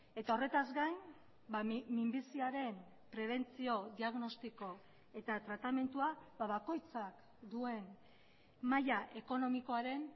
eta horretaz gain minbiziaren prebentzio diagnostiko eta tratamendua bakoitzak duen maila ekonomikoaren